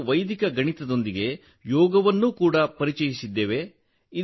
ನಾವು ವೈದಿಕ ಗಣಿತದೊಂದಿಗೆ ಯೋಗವನ್ನೂ ಪರಿಚಯಿಸಿದ್ದೇವೆ